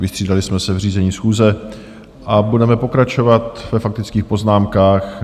Vystřídali jsme se v řízení schůze a budeme pokračovat ve faktických poznámkách.